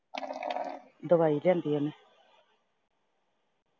ਦਵਾਈ ਲਿਆਂਦੀ ਉਹਨੇ